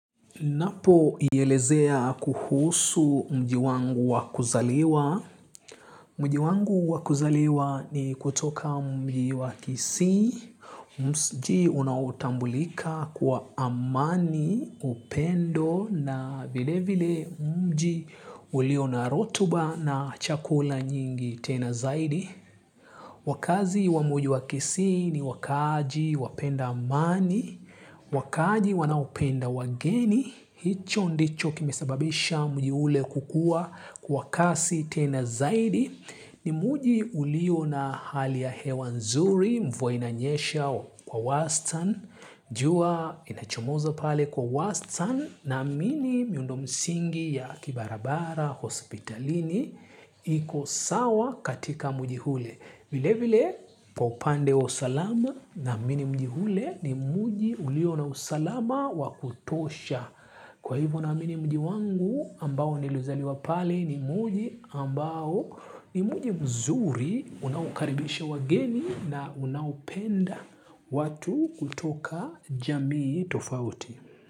Napo yelezea kuhusu mji wangu wakuzaliwa. Mji wangu wakuzaliwa ni kutoka mji wakisii, mji unautambulika kwa amani, upendo na vile vile mji ulio na rotuba na chakula nyingi tena zaidi. Wakazi wa mji wa kisii ni wakaji wapenda amani, wakaji wanaupenda wageni, hicho ndicho kimesababisha mji ule kukua kwa kasi tena zaidi. Ni mji ulio na hali ya hewa nzuri mvua inanyesha kwa wastani. Jua inachomozo pale kwa wastani naamini miundo msingi ya kibarabara hospitalini iko sawa katika muji hule. Vile vile kwa upande wa usalama na mini muji ule ni muji ulio na usalama wakutosha. Kwa hivo naamini mji wangu ambao niliuzaliwa pale ni mji ambao ni mji mzuri unakaribisha wageni na unapenda watu kutoka jamii tofauti.